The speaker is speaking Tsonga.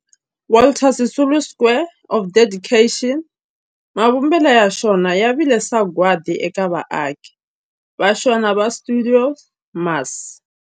Walter Sisulu Square of Dedication, mavumbelo ya xona ya vile sagwadi eka vaaki va xona va stuidio MAS.